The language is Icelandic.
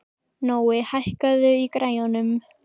Nói, hækkaðu í græjunum.